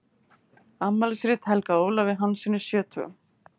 Afmælisrit helgað Ólafi Hanssyni sjötugum.